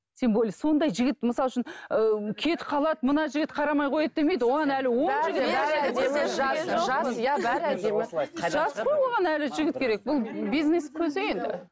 тем более сондай жігіт мысалы үшін ыыы кетіп қалады мына жігіт қарамай қояды демейді оған әлі жас қой оған әлі жігіт керек бұл бизнес көзі енді